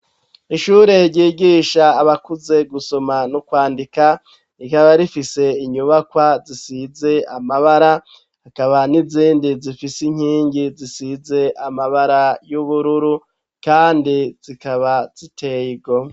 Ishure ryigisha abakuze gusoma n'ukwandika rikaba rifise inyubakwa zisize amabara akaba n'izindi zifise inkingi zisize amabara y'ubururu, kandi zikaba zitego.